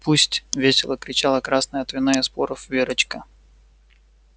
пусть весело кричала красная от вина и споров верочка